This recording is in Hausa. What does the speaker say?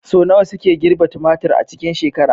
Sau nawa suke girbi tumatir a cikin shekara?